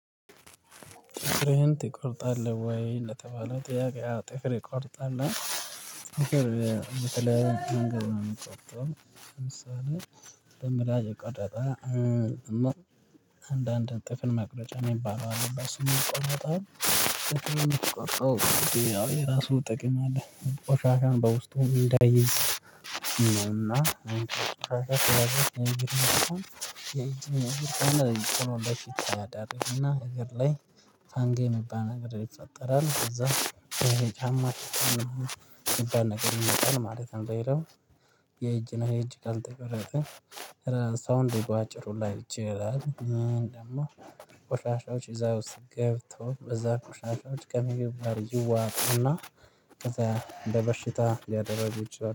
ጥፍርህን ትቆርጣለህ ወይ ለተባለው ጥያቄ አወ ጥፍር እቆርጣለሁ። መንገድ ነው የሚቆጠረው። ለምሳሌ በምላጭ ቀረጣ። እማር አንዳንድ ጥፍርን መቅረጫ የሚባለው አለ ስሙ የሚቆረጠው። ጥርፍን የሚቆረጠው እኔ የራሱ ጥቅም አለ። ቆሻሻን በውስጡ እንዳይዝ እና የእግር ነገር። እንደውም የእግር ነገር ቅሎ ለፊት አያደርግም እና እግር ላይ ፋንጋይ የሚባል ነገር ይፈጠራል። ከዛ ይሄ ጫማ ሸታ የሚባል ነገር ይመጣል ማለት ነው የለውም። የእጅ እና የእጅ ካልተቆረጠ ራሳውን ድጋፍ አጭር ሁላ ይችላል። ደግሞ ቁሻሻዎች እዛ ውስጥ ገብተው በዛ ቁሻሻዎች ከምግብ ጋር ይዋጡና ከዛ እንደ በሽታ ሊዳረጉ ይችላሉ